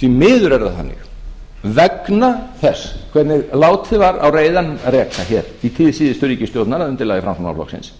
því miður er það þannig vegna þess hvernig látið var á reiðanum reka hér í tíð síðustu ríkisstjórnar að undirlagi framsóknarflokksins